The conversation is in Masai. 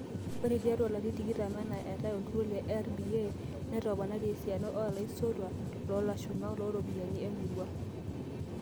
Oree tiatua larini tikitam enaa eetay olturur le RBA, netoponari esiana olaisotuak loolashumak looropiyiani emoruao.